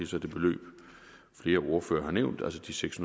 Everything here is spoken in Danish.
så det beløb flere ordførere har nævnt altså de seks